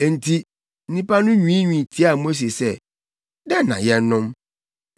Enti nnipa no nwiinwii tiaa Mose sɛ, “Dɛn na yɛnnom?”